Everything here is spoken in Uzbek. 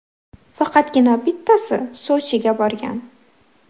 Faqatgina bittasi Sochiga borgan.